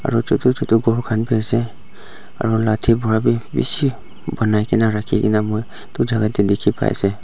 aru chotu chotu khan bhi ase aru lathi para bhi bishi banai ke na rakhi ke na moi dui jaga teh dikhi pai ase.